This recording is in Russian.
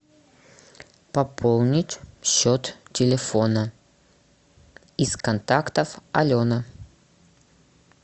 пополнить счет телефона из контактов алена